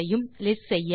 list செய்ய